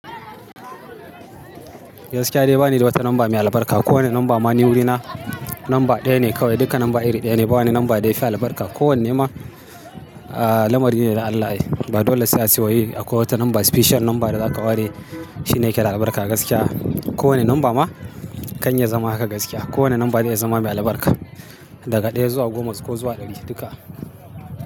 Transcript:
Gaskiya dai bani da wata namba mai albarka. Ko wane namba ma ni wurina namba ɗaya ne kawai. Duka namba iri ɗaya ne, ba wani namba da yafi albarka. Ko wanne ma, ah, lamari ne da Allah yayi. Ba dole sai a siyo yi akwai wata namba special namba da za ka ware shi ne yake da albarka gaskiya. Ko wane namba ma kan ya zama haka gaskiya. Ko wane namba zai zama mai albarka. Daga ɗaya zuwa goma ko zuwa ɗari duka.